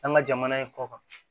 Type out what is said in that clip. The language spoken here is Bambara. An ka jamana in kɔ kan